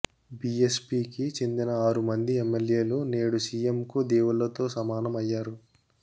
BS పీకి చెందిన ఆరు మంది ఎమ్మెల్యేలు నేడు సీఎంకు దేవుళ్లతో సమానం అయ్యారు